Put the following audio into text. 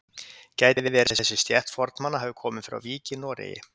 Gæti verið að þessi stétt fornmanna hafi komið frá Vík í Noregi?